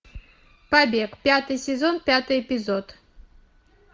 побег пятый сезон пятый эпизод